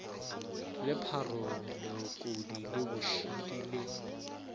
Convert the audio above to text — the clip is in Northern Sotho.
lepharong leokodi le bošidi le